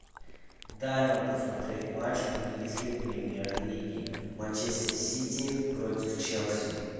дай нам посмотреть матч английской премьер лиги манчестер сити против челси